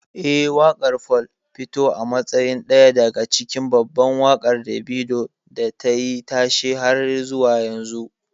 Eh, waƙar 'Fall' fito a matsayin daya daga cikin babban waƙar Davido da tayi tashe har zuwa yau.